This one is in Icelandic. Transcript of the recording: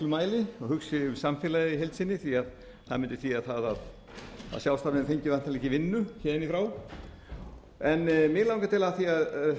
mæli og hugsi um samfélagið í heild sinni því að það mundi þýða það að sjálfsagt fengjum við ekki vinnu héðan í frá en mig langar til af því að